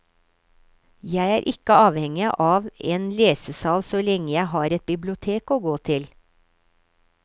Jeg er ikke avhengig av en lesesal så lenge jeg har et bibliotek å gå til.